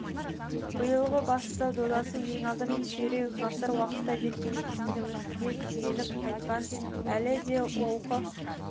биылғы басты додасы ең алдымен ширек ғасыр уақытта жеткен жетістігімізге сүйініп айтқан әлі де олқы